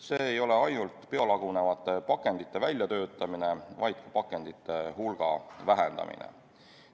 See ei ole ainult biolagunevate pakendite väljatöötamine, vaid ka pakendite hulga vähendamine.